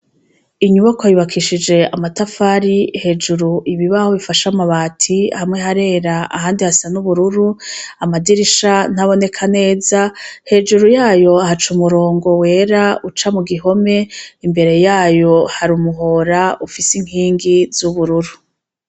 Inyubakwa yubakishije amatafari hejuru ibibaho bifashe amabati hamwe harera ahandi hasa n'ubururu, amadirisha ntaboneka neza hejuru yayo haca umurongo wera uca mu gihome, imbere yayo hari umuhora ufise inkingi z'ubururu.